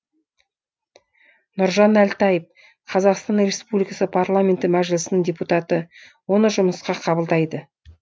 нұржан әлтаев қр парламенті мәжілісінің депутаты оны жұмысқа қабылдайды